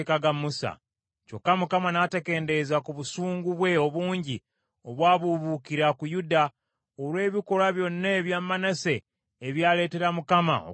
Kyokka Mukama n’atakendeeza ku busungu bwe obungi obwabuubuukira ku Yuda, olw’ebikolwa byonna ebya Manase ebyaleetera Mukama okusunguwala.